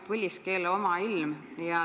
Põliskeele omailm".